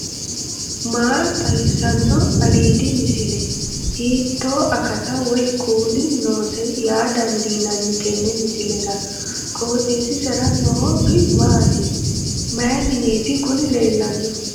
maa xawissanno aliidi misile ? hiitto akati woy kuuli noose yaa dandiinanni tenne misilera? qooxeessisera noori maati ? mayi mineeti kuni leellannohu